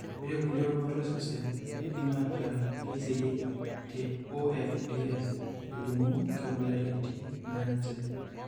Ore kulie rubat osesen keidim aataa keiseyieki te OFDS, elimu inkabilaitin naaje.